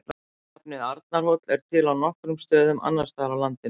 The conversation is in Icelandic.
Nafnið Arnarhóll er til á nokkrum stöðum annars staðar á landinu.